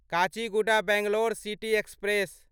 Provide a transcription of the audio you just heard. Kachiguda Bangalore city express